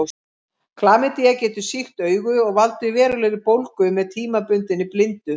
Klamydía getur sýkt augu og valdið verulegri bólgu með tímabundinni blindu.